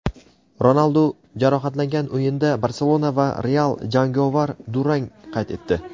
Ronaldu jarohatlangan o‘yinda "Barselona" va "Real" jangovar durang qayd etdi.